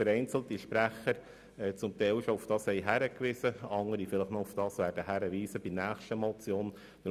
Vereinzelte Sprecher haben bereits darauf hingewiesen und andere werden das vielleicht noch bei der nächsten Motion tun.